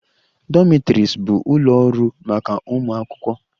Dormitories bụ ụlọ ọrụ ụlọ maka ụmụ akwụkwọ